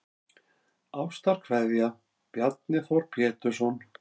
Ástarkveðja Bjarni Þór Pétursson